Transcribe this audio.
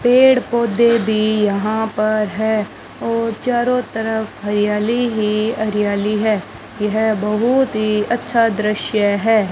पेड़ पौधे भी यहां पर है और चारों तरफ हरियाली ही हरियाली है यह बहुत ही अच्छा दृश्य है।